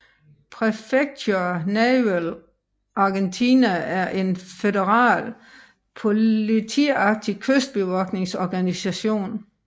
Prefectura Naval Argentina er en føderal politiagtig kystbevogtningsorganisation